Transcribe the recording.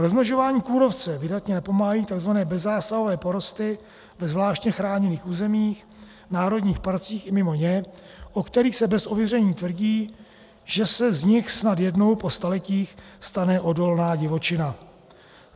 Rozmnožování kůrovce vydatně napomáhají takzvané bezzásahové porosty ve zvláště chráněných územích, národních parcích i mimo ně, o kterých se bez ověření tvrdí, že se z nich snad jednou po staletích stane odolná divočina.